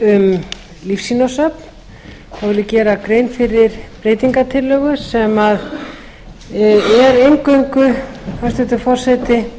lífsýnasöfn vil ég gera grein fyrir breytingartillögu sem er eingöngu hæstvirtur forseti